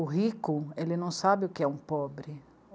O rico não sabe o que é um pobre.